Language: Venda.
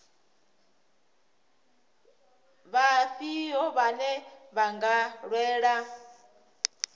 vhafhio vhane vha nga lwela